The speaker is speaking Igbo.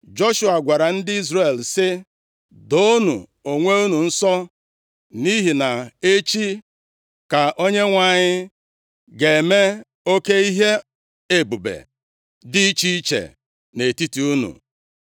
Joshua gwara ndị Izrel sị, “Doonụ onwe unu nsọ, nʼihi na echi ka Onyenwe anyị ga-eme oke ihe ebube dị iche iche nʼetiti unu.”